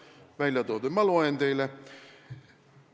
Ma loen teile need ette, et te ei saaks öelda, et mina olen seda öelnud.